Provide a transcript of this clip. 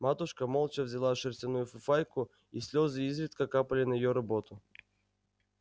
матушка молча вязала шерстяную фуфайку и слезы изредка капали на её работу